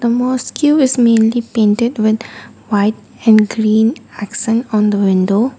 mosque is mainly painted with white and green on the window.